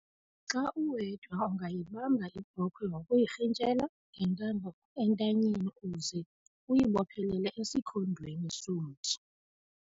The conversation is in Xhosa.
Xa uwedwa, ungayibamba ibhokhwe ngokuyirhintyela ngentambo entanyeni uze uyibophelele esikhondweni somthi.